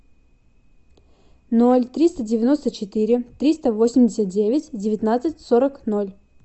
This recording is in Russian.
ноль триста девяносто четыре триста восемьдесят девять девятнадцать сорок ноль